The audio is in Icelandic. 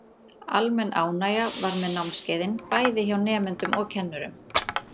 Almenn ánægja var með námskeiðin, bæði hjá nemendum og kennurum.